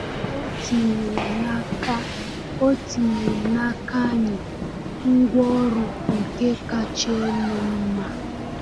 O tinyere n’aka tinyere n’aka anyị ngwaọrụ nke kacha elu mma.